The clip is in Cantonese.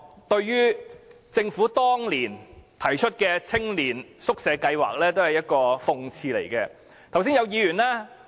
對於政府當年提出的青年宿舍計劃，用軍營來作青年宿舍是一種諷刺。